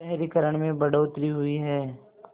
शहरीकरण में बढ़ोतरी हुई है